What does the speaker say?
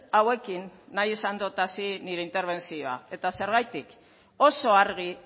hauekin nahi esan dot hasi nire interbentzioa eta zergatik oso argi